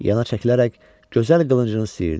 Yana çəkilərək gözəl qılıncını siyirdi.